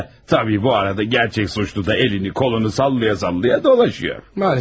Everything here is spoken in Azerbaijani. Hə, təbii bu arada gərçək suçlu da əlini, qolunu sallaya-sallaya dolaşıyor.